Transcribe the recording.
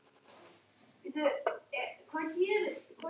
Við erum eins og skot komnir alla leið til upphafsins.